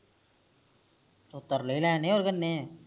ਓ ਤਰਲੇ ਹੀ ਲੈਣੇ ਹੋ ਕਿ ਕਰਨੇ